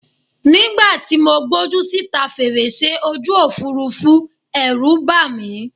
Nígbà tí gbójú síta fèrèsé ojú Òfurufú, Ẹ̀rù bà mí.